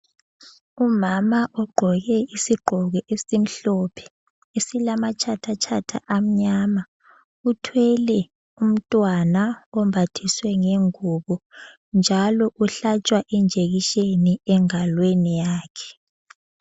Umama ugqoke isigqoko esimhlophe esilamatshathatshatha amnyama, uthwele umntwana ombathiswe ngengubo, njalo uhlatshwa injekisheni engalweni yakhe.